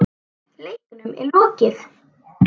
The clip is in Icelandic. Leiknum er lokið.